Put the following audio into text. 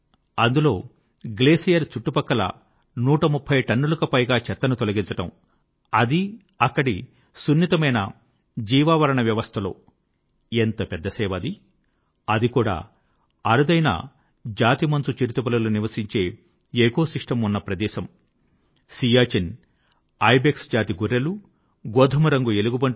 అందులో గ్లేసియర్ చుట్టుపక్కల 130టన్నులకు పైన చెత్తను తొలగించడం అదీ అక్కడి సున్నితమైన జీవావరణ వ్యవస్థ ఎంత పెద్ద సేవ అది అది కూడా అరుదైన జాతి మంచు చిరుతపులులు నివసించే ఎకోసిస్టమ్ ఉన్న ప్రదేశం అక్కడ సియాచిన్ జాతి గొర్రెలు గోధుమ రంగు ఎలుగుబంట్లు వంటి అరుదైన జంతువులు ఉండే ప్రదేశం